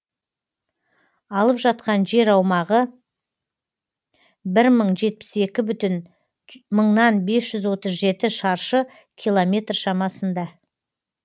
алып жатқан жер аумағы бір мың жетпіс екі бүтін мыңнан бес жүз отыз жеті шаршы километр шамасында